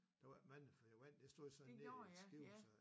Der var ikke mange for der var en der stod sådan lidt skævt så